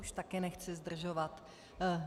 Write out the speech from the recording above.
Už taky nechci zdržovat.